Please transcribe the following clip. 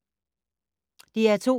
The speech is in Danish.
DR2